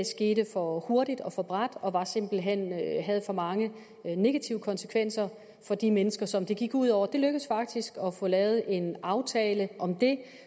skete for hurtigt og for brat og simpelt hen for mange negative konsekvenser for de mennesker som det gik ud over det lykkedes faktisk at få lavet en aftale om det